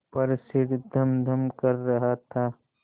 पर सिर धमधम कर रहा था